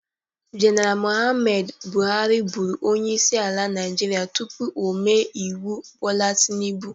Jeneral Mụhammad bụharɨ bụrụ onyeisi ala Naijiria tupu ome iwu Bola Tinubụ.